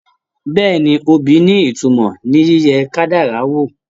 Bẹ́ẹ̀ni, obì ní ìtumọ̀ ní ìtumọ̀ ní yíyẹ kádàrá wò.